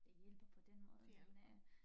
Det hjælper på den måde men øh